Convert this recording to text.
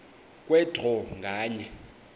kwe draw nganye